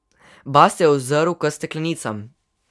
Bast se je ozrl k steklenicam.